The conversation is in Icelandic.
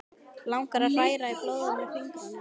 Langar að hræra í blóðinu með fingrunum.